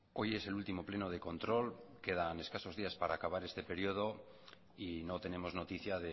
hoy es el último pleno de control quedan escasos días para acabar este periodo y no tenemos noticia